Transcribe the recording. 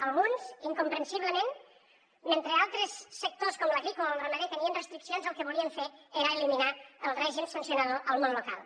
alguns incomprensiblement mentre altres sectors com l’agrícola el ramader tenien restriccions el que volien fer era eliminar el règim sancionador al món local